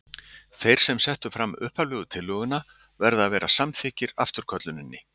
Þeir sem settu fram upphaflegu tillöguna verða að vera samþykkir afturkölluninni.